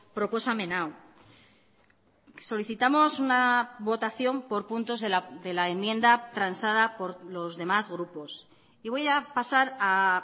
proposamen hau solicitamos una votación por puntos de la enmienda transada por los demás grupos y voy a pasar a